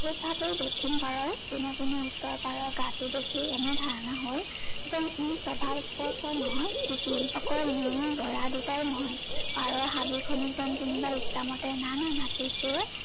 দক্ষিণ পাৰৰ কোনো কোনো উত্তৰ পাৰৰ গাটো দেখি এনে ধাৰনা হল যেন ই স্পোষ্ট নহয় অকল গঢ়া দুটাই নহয় পাৰৰ হাবি খনো যেন কোনোবাই ইচ্ছা মতে নাই মাটিত সেই